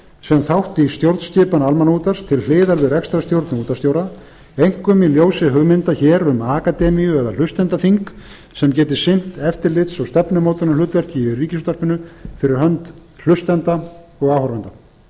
sem þátt í stjórnskipan almannaútvarp til hliðar við rekstrarstjórn og útvarpsstjóra einkum í ljósi hugmynda hér um akademíu eða hlustendaþing sem geti sinnt eftirlits og stefnumótunarhlutverki í ríkisútvarpinu fyrir hönd hlustenda og áhorfenda